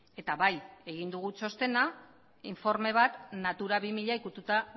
eta bai egin dugu txostena informe bat natura bi mila ikututa